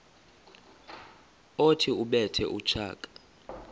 othi ubethe utshaka